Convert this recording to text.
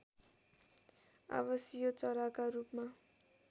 आवासीय चराका रूपमा